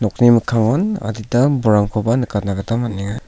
nokni mikkangon adita bolrangkoba nikatna gita man·enga.